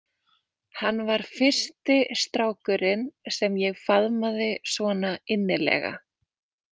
Hann var fyrsti strákurinn sem ég faðmaði svona innilega.